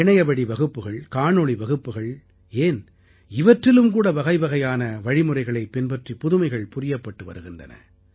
இணையவழி வகுப்புகள் காணொளி வகுப்புகள் ஏன் இவற்றிலும்கூட பலவகையான வழிமுறைகளைப் பின்பற்றி புதுமைகள் புரியப்பட்டு வருகின்றன